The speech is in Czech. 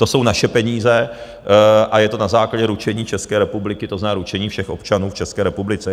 To jsou naše peníze a je to na základě ručení České republiky, to znamená ručení všech občanů v České republice.